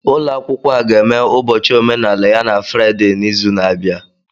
ụlọ akwụkwọ a ga-eme ụbọchị omenaala ya na Fraịde n'izu na-abịa